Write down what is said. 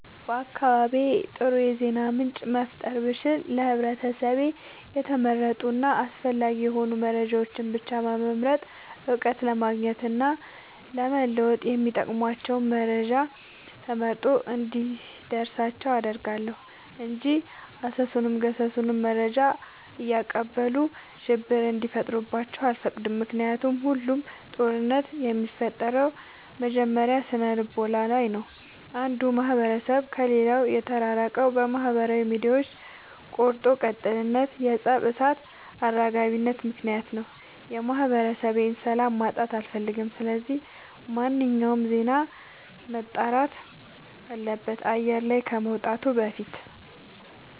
በአካባቢዬ አጥሩ የዜና ምንጭ መፍጠር ብችል ለህብረተሰቤ የተመረጡ እና አስፈላጊ የሆኑ መረጃዎችን ብቻ በመምረጥ እውቀት ለማግኘት እና ለመወጥ የሚጠቅሟቸውን መረጃ ተመርጦ እንዲደርሳቸው አደርጋለሁ። እንጂ አሰሱንም ገሰሱንም መረጃ እያቀበሉ ሽብር እንዲፈጥሩባቸው አልፈቅድም ምክንያቱም ሁሉም ጦርነት የሚፈጠረው መጀመሪያ ስነልቦና ላይ ነው። አንዱ ማህበረሰብ ከሌላው የተራራቀው በማህበራዊ ሚዲያዎች ቆርጦ ቀጥልነት የፀብ እሳት አራጋቢነት ምክንያት ነው። የማህበረሰቤን ሰላም ማጣት አልፈልግም ስለዚህ ማንኛውም ዜና መጣራት አለበት አየር ላይ ከመውጣቱ በፊት።